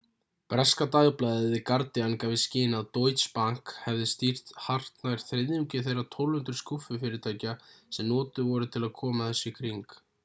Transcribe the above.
breska dagblaðið the guardian gaf í skyn að deutsche bank hefði stýrt hartnær þriðjungi þeirra 1200 skúffufyrirtækja sem notuð voru til að koma þessu í kring